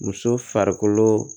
Muso farikolo